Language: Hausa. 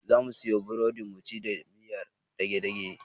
Zamu siyo burodi muci da miyar dage-dage.